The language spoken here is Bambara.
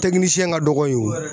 ka dɔgɔ yen o.